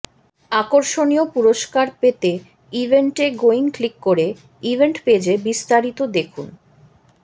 আকর্ষণীয় পুরুষ্কার পেতে ইভেন্টে গোয়িং ক্লিক করে ইভেন্ট পেজে বিস্তারিত দেখুন